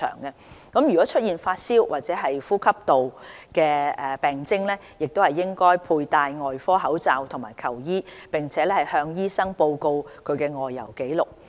旅客若出現發燒或呼吸道病徵，應佩戴外科口罩及求醫，並向醫生報告其外遊紀錄。